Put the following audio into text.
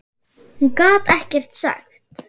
Hún gat ekkert sagt.